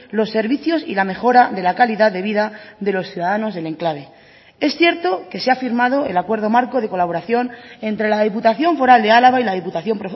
los servicios y la mejora de la calidad de vida de los ciudadanos del enclave es cierto que se ha firmado el acuerdo marco de colaboración entre la diputación foral de álava y la diputación